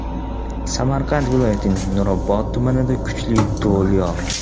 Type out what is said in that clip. Samarqand viloyatining Nurobod tumanida kuchli do‘l yog‘di.